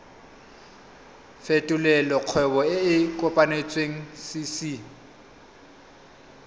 fetolela kgwebo e e kopetswengcc